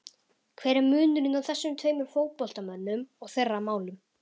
Hver er munurinn á þessum tveimur fótboltamönnum og þeirra málum?